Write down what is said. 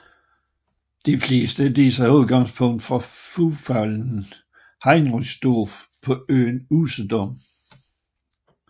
De fleste af disse har udgangspunkt fra Flughafen Heringsdorf på øen Usedom